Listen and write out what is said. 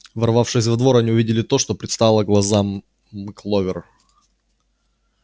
ворвавшись во двор они увидели то что предстало глазам кловер